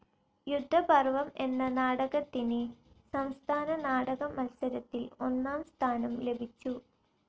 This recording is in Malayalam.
യുദ്ധപർവം എന്ന നാടകത്തിന് സംസ്ഥാന നാടക മത്സരത്തിൽ ഒന്നാംസ്ഥാനം ലഭിച്ചു.